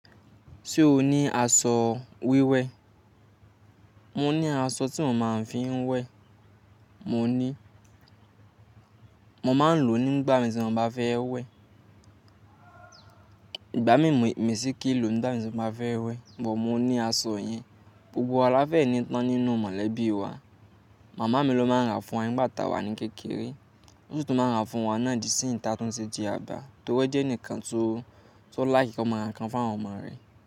Ṣé o ní aṣọ wíwẹ́? Mo ní aṣọ tí mo máa ń fi ń wẹ̀, mo ní. Mo máa ń lò ó nígbà mìíràn tí mo bá fẹ́ wẹ̀. Ìgbà mí ì misí kí lò nígbà tí mo bá fẹ́ wẹ̀, bọ̀ mo ní aṣọ yen. Gbogbo wa láfẹ̀ ní ìtàn nínú mọ̀lẹ́bí wa. Màmá mi ló máa ń ra fún wa nígbàta wa ní kékeré. Won si tun máa ń rà fún wa náà di sí ìta tún ṣe di àgbà, torí ó jẹ́ ẹnìkan tó like wọ́n máa ra nǹkan fún àwọn ọmọ rẹ̀